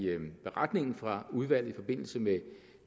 beretningen fra udvalget i forbindelse med